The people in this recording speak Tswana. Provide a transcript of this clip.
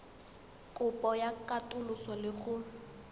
kopo ya katoloso le go